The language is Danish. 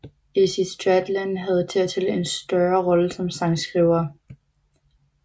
Izzy Stradlin havde dertil en større rolle som sangskriver